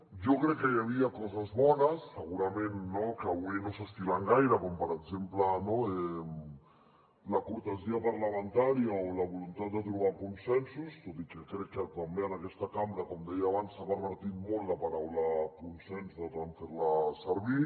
jo crec que hi havia coses bones segurament que avui no s’estilen gaire com per exemple la cortesia parlamentària o la voluntat de trobar consensos tot i que crec que també en aquesta cambra com deia abans s’ha pervertit molt la paraula consens de tant fer la servir